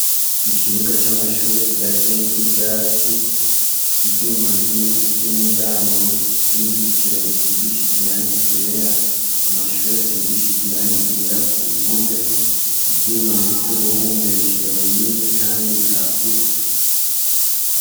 Ikibuga c'amashure kidateyeko ivyatsi, ivyuma vy'umuryango w'uruzitiro bisigishije irangi ryera, amashure asigishije irangi ryera ku mpome, ivyumba bifise ubuhumekero bunini kandi bwagutse.